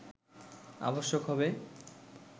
আবশ্যক হবে